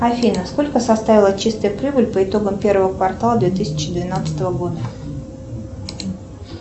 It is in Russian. афина сколько составила чистая прибыль по итогам первого квартала две тысячи двенадцатого года